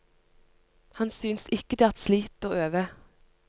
Han synes ikke det er et slit å øve.